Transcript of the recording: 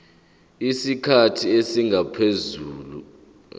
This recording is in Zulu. isikhathi esingaphezu konyaka